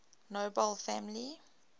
nobel family